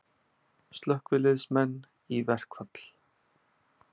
Slökkviliðsmenn í verkfall